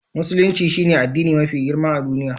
Musulunci shine addini mafi girma a duniya.